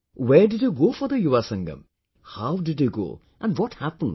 Where did you go for the Yuva Sangam, how did you go, what happened